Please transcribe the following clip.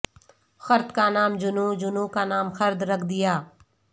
خرد کا نام جنوں جنوں کا نام خرد رکھ دیا